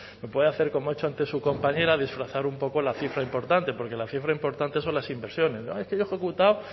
me puede hacer como ha hecho antes su compañera disfrazar un poco la cifra importante porque la cifra importante son las inversiones ah que yo he ejecutado